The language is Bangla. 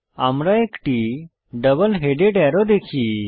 আমরা একটি ডাবল হেডেড অ্যারো দেখি